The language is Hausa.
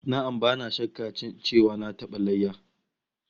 Na'am, bana shakka cewa na taba yanka ragon layya